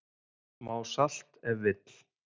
Smá salt ef vill